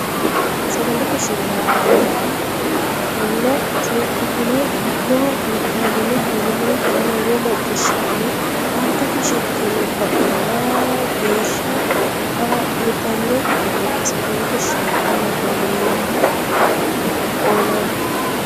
Sagalete shiilla nabbaweemma ona seekkitine giddo vaytaamine fayyimmankera lowo macciishshitine aantete shiqqino xa mora geeshsha kaa litanno kifileeti Sagalete shiilla nabbaweemma ona.